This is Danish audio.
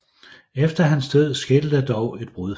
Efter hans død skete der dog et brud